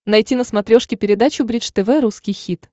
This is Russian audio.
найти на смотрешке передачу бридж тв русский хит